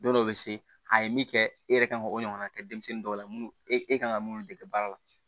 Don dɔw bɛ se a ye min kɛ e yɛrɛ kan ka o ɲɔgɔnna kɛ denmisɛnnin dɔw la e kan ka mun dege baara la